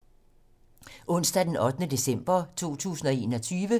Onsdag d. 8. december 2021